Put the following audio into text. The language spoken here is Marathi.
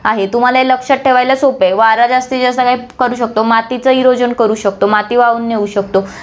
आहे. तुम्हाला हे लक्षात ठेवायला सोपं आहे, वारा जास्तीतजास्त काय पडू शकतो, मातीचं erosion करू शकतो, माती वाहून नेऊ शकतो,